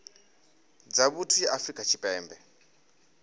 dza vhuthu ya afrika tshipembe